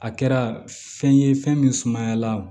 A kɛra fɛn ye fɛn min sumayala